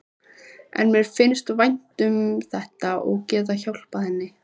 En mér fannst vænt um þetta, að geta hjálpað henni.